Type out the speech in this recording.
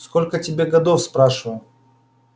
сколько тебе годов спрашиваю